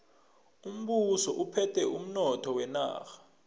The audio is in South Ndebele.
umbuso uphethe umnotho wenarha